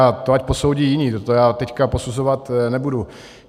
Ale to ať posoudí jiní, to já teď posuzovat nebudu.